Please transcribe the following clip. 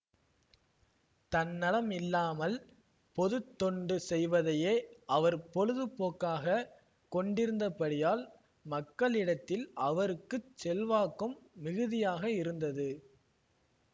தன்னலம் இல்லாமல் பொதுத்தொண்டு செய்வதையே அவர் பொழுதுபோக்காக கொண்டிருந்தபடியால் மக்களிடத்தில் அவருக்கு செல்வாக்கும் மிகுதியாக இருந்தது